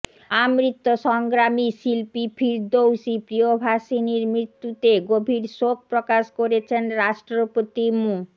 আমৃত্য সংগ্রামী শিল্পী ফেরদৌসী প্রিয়ভাষিণীর মৃত্যুতে গভীর শোক প্রকাশ করেছেন রাষ্ট্রপতি মো